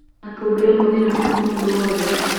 Natũngĩremwo thĩina ni kwa mũndo wothe